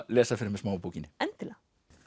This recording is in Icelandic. lesa fyrir mig smá úr bókinni endilega